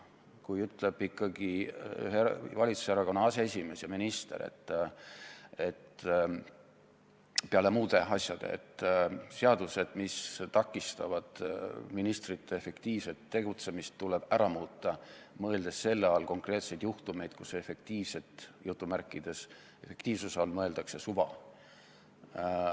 Kui ikkagi ühe valitsuserakonna aseesimees ja minister muude asjade seas ütleb, et seadused, mis takistavad ministrite efektiivset tegutsemist, tuleb ära muuta, mõeldes selle all konkreetseid juhtumeid, kus "efektiivsuse" all mõeldakse suva.